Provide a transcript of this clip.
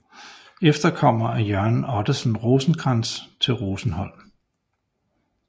Efterkommere af Jørgen Ottesen Rosenkrantz til Rosenholm